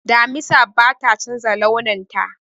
Damisa bata chanza launin ta